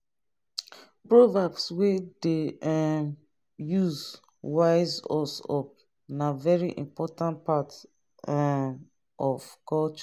proverbs we dey um use wise us up na very important part um of culture